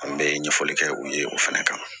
An bɛ ɲɛfɔli kɛ u ye o fɛnɛ kan